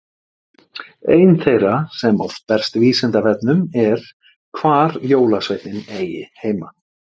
ein þeirra sem oft berst vísindavefnum er hvar jólasveinninn eigi heima